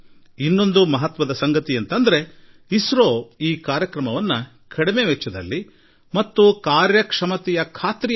ಅಲ್ಪ ವೆಚ್ಚ ಮತ್ತು ಯಶಸ್ಸಿನ ಖಾತರಿಯೊಂದಿಗೆ ವಿಶ್ವದಲ್ಲಿ ಇಸ್ರೋ ಮಹತ್ವದ ಸ್ಥಾನ ಪಡೆದುಕೊಂಡಿರುವುದೂ ಉಲ್ಲೇಖಾರ್ಹ